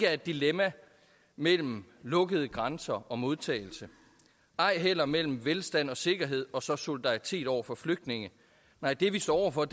er et dilemma mellem lukkede grænser og modtagelse ej heller mellem velstand og sikkerhed og så solidaritet over for flygtninge nej det vi står over for